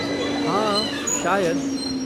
हाँ, शायद।